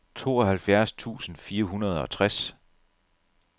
tooghalvfjerds tusind fire hundrede og tres